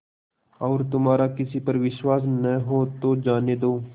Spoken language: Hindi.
और तुम्हारा किसी पर विश्वास न हो तो जाने दो